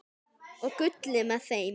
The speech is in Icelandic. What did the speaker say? Og Gulli með þeim!